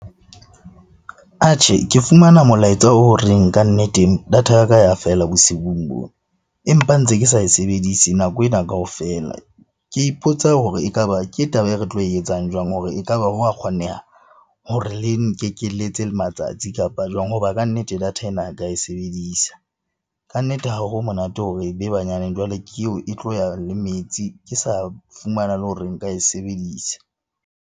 Ke fumana molaetsa o reng kannete data ya ka ya feela bosiung bo. Empa ntse ke sa e sebedise nako ena kaofela. Ke ipotsa hore ekaba ke taba e re tlo e etsang jwang hore ekaba hwa kgoneha hore le nkekeletse matsatsi kapa jwang. Hoba kannete data ena ka e sebedisa. Kannete, ha ho monate hore e be banyane jwale ke eo e tlo ya le metsi, ke sa fumana le hore nka e sebedisa.